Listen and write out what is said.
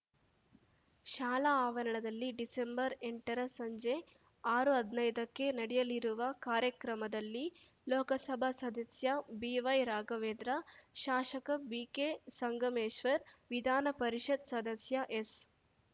ಶಾಲಾ ಆವರಣದಲ್ಲಿ ಡಿಸೆಂಬರ್ ಎಂಟರ ಸಂಜೆ ಆರುಹದ್ನೈದಕ್ಕೆ ನಡೆಯಲಿರುವ ಕಾರ್ಯಕ್ರಮದಲ್ಲಿ ಲೋಕಸಭಾ ಸದಸ್ಯ ಬಿವೈ ರಾಘವೇಂದ್ರ ಶಾಸಕ ಬಿಕೆ ಸಂಗಮೇಶ್ವರ್‌ ವಿಧಾನಪರಿಷತ್‌ ಸದಸ್ಯ ಎಸ್‌